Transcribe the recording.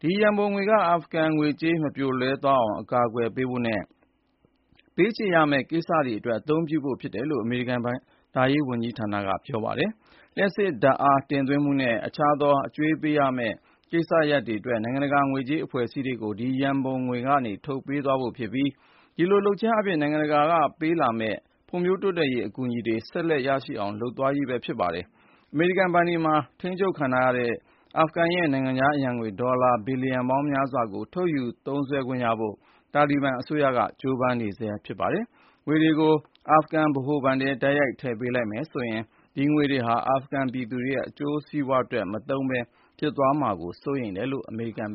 ဒီရန်ပုံငွေက အာဖဂန်ငွေကြေး မပြိုလဲသွားအောင် အကာအကွယ်ပေးဖို့နဲ့ ပေးချေရမယ့် ကိစ္စတွေအတွက် အသုံးပြုဖို့ ဖြစ်တယ်လို့ အမေရိကန် ဘဏ္ဍာရေးဝန်ကြီးဌာနက ပြောပါတယ်။ လျှပ်စစ်ဓါတ်အား တင်သွင်းမှုနဲ့ အကြွေးပေးဆပ်ရမယ့် ကိစ္စအတွက် နိုင်ငံတကာငွေကြေးအဖွဲ့အစည်းတွေကို ဒီရန်ပုံငွေကနေ ထုတ်ပေးသွားဖို့ ဖြစ်ပြီး ဒီလို လုပ်ခြင်းအားဖြင့် နိုင်ငံတကာက ပေးမယ့် ဖွံ့ဖြိုးတိုးတက်ရေး အကူအညီတွေ ဆက်လက် ရရှိအောင် လုပ်သွားရေးဖြစ်ပါတယ်။ အမေရိကန် ဘဏ်တွေမှာ ထိန်းချုပ်ခံထားရတဲ့ အာဖဂန်ရဲ့ နိုင်ငံခြားအရံငွေ ဒေါ်လာ ဘီလျံပေါင်းများစွာကို ထုတ်ယူ သုံးစွဲခွင့်ရဖို့ တာလီဘန်အစိုးရက ကြိုးပမ်းနေဆဲ ဖြစ်ပါတယ်။ ငွေတွေကို အာဖဂန်ဗဟိုဘဏ်ထဲ တိုက်ရိုက် ထည့်ပေးလိုက်မယ်ဆိုရင် ဒီငွေတွေဟာ အာဖဂန် ပြည်သူတွေရဲ့အကျိုးစီးပွားအတွက် အသုံးမပြုပဲ ဖြစ်သွားမှာကို စိုးရိမ်မိတယ်လို့ အမေရိကန်ဘ